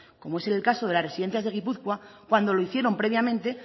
como es el caso de las residencias de gipuzkoa cuando lo hicieron previamente